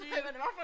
Det